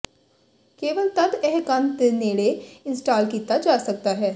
ਕੇਵਲ ਤਦ ਇਹ ਕੰਧ ਦੇ ਨੇੜੇ ਇੰਸਟਾਲ ਕੀਤਾ ਜਾ ਸਕਦਾ ਹੈ